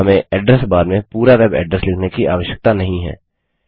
हमें address bar में पूरा वेब एड्रेस लिखने की आवश्यकता नहीं है